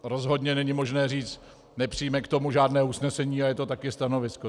Rozhodně není možné říci "nepřijme k tomu žádné usnesení" a je to také stanovisko.